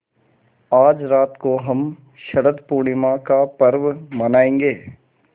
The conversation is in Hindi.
आज रात को हम शरत पूर्णिमा का पर्व मनाएँगे